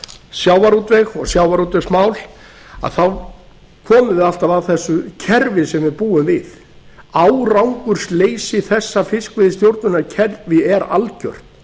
sjávarútveg og sjávarútvegsmál að þá komum við alltaf að þessu kerfi sem við búum við árangursleysi þessa fiskveiðistjórnarkerfis er algjört